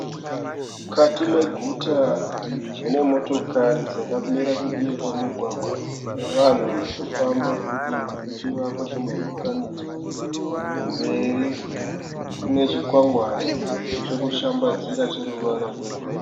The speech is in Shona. Mukati meguta munemotikari dzakamira kudivi kwemugwagwa navanhu varikufamba kudivi kwechivakwa chemudurikanidzwa. Kumberi kune chikwangwani chokushambadzira cheruvara rwegirini.